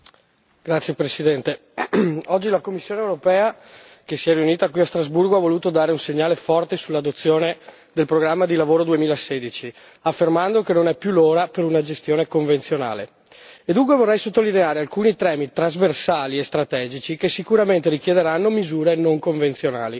Signor Presidente, onorevoli colleghi, oggi la Commissione europea che si è riunita qui a Strasburgo ha voluto dare un segnale forte sull'adozione del programma di lavoro 2016, affermando che non è più l'ora per una gestione convenzionale. E dunque vorrei sottolineare alcuni temi trasversali e strategici che sicuramente richiederanno misure non convenzionali.